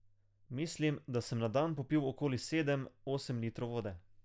Mislim, da sem na dan popil okoli sedem, osem litrov vode.